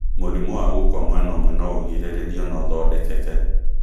Mũrimũ wa gũkua mwena ũmwe no ũgirĩrĩrio na ũthodekeke